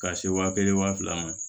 Ka se wa kelen wa fila ma